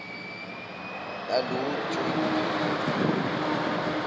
lalutho eku pheleni